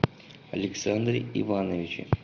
александре ивановиче